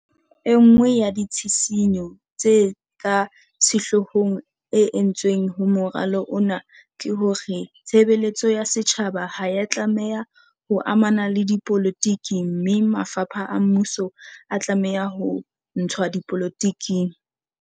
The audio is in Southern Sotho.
E nngwe ya ditshisinyo tse ka sehlohong e entsweng ho moralo ona ke hore tshebe letso ya setjhaba ha ya tla meha ho amana le dipolotiki mme mafapha a mmuso a tlameha ho ntshwa dipolo tiking.